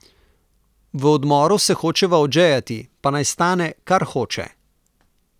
V odmoru se hočeva odžejati, pa naj stane, kar hoče.